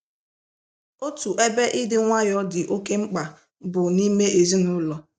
Otu ebe ịdị nwayọọ dị oké mkpa bụ n’ime ezinụlọ.